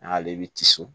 N'ale bɛ tisi